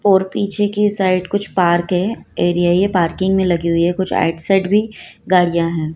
और पीछे की साइड कुछ पार्क है एरिया ये पार्किंग में ही लगी हुई है कुछ आउटसाइड भी गाड़ियाँ हैं।